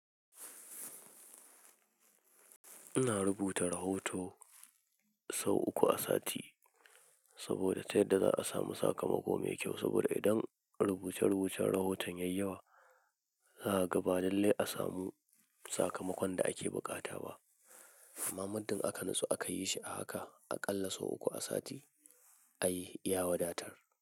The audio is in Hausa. Ina rubuta rahoto sau uku a sati saboda ta yadda za a samu sakamako mai kyau. Saboda idan rubuce-rubucin rahoton yayyawa, za a ga ba lallai a samu sakamakon da ake buƙata ba. Amma mundin aka nutsu, aka yi shi a haka, aƙalla sau uku a sati a yi ya wadatar.